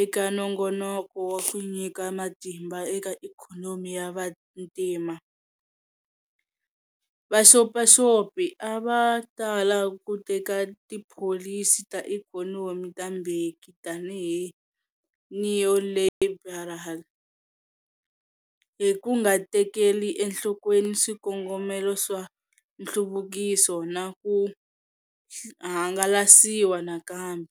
eka nongonoko wa ku nyika matimba eka ikhonomi ya vantima, vaxopaxopi a va tala ku teka tipholisi ta ikhonomi ta Mbeki tanihi neoliberal, hi ku nga tekeli enhlokweni swikongomelo swa nhluvukiso na ku hangalasiwa nakambe.